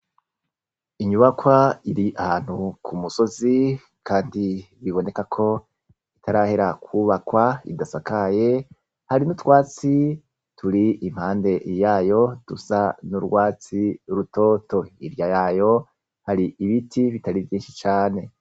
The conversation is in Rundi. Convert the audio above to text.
Inyubakw' ir' ahantu k' umusozi kandi bibonekak' itarahera kubakw' idasakaye hari n'utwatsi turi impahande yayo dusa n' urwatsi rutoto, hirya yayo har' ibiti bitari vyinshi cane.